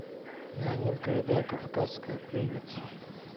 леонид гайдай кавказская пленница